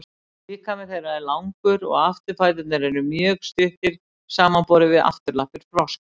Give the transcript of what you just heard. líkami þeirra er langur og afturfæturnir eru mjög stuttir samanborið við afturlappir froska